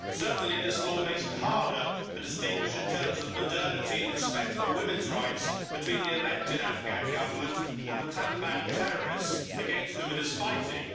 Certainly this law makes it harder to distinguish, in terms of modernity and respect for women's rights, between the elected Afghan Government and the Taliban terrorists against whom it is fighting.